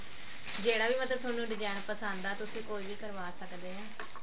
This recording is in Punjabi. ਜਿਹੜਾ ਵੀ ਮਤਲਬ ਥੋਨੂੰ design ਪਸੰਦ ਆ ਤੁਸੀਂ ਓਹੀ ਕਰਵਾ ਸਕਦੇ ਹਾਂ